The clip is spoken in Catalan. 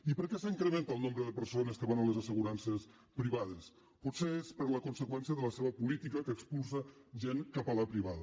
i per què s’incrementa el nombre de persones que van a les assegurances privades potser és per la conseqüència de la seva política que expulsa gent cap a la privada